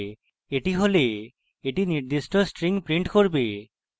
এটি হলে এটি নির্দিষ্ট string print করবে